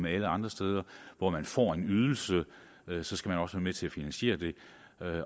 er alle andre steder hvor man får en ydelse ydelse skal man også være med til at finansiere det